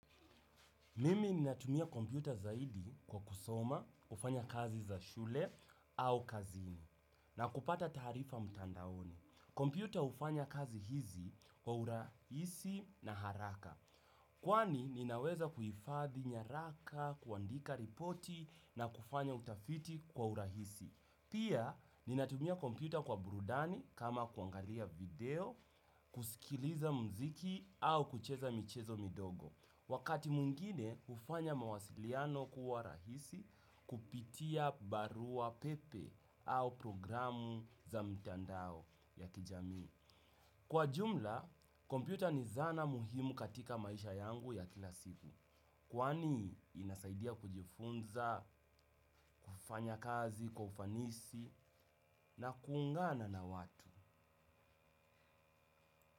Mimi ninatumia kompyuta zaidi kwa kusoma, kufanya kazi za shule au kazini na kupata tarifa mtandaoni. Kompyuta hufanya kazi hizi kwa urahisi na haraka. Kwani ninaweza kuhifadhi nyaraka, kuandika ripoti na kufanya utafiti kwa urahisi. Pia ninatumia kompyuta kwa burudani kama kuangalia video, kusikiliza mziki au kucheza michezo midogo. Wakati mwingine hufanya mawasiliano kuwa rahisi kupitia barua pepe au programu za mtandao ya kijami. Kwa jumla, kompyuta ni zana muhimu katika maisha yangu ya kila siku. Kwani inasaidia kujifunza, kufanya kazi, kufanisi na kuungana na watu.